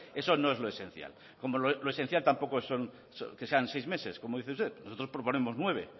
eso no es lo esencial como lo esencial tampoco son que sean seis meses como dice usted nosotros proponemos nueve